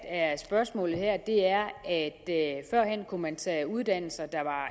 er spørgsmålet er at førhen kunne man tage uddannelser der var